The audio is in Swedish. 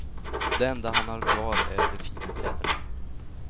Det enda han har kvar är de fina kläderna.